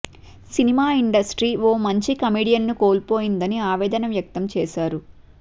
cinema industry ఓ మంచి కమెడియన్ను కోల్పోయిందని ఆవేదన వ్యక్తం చేశారు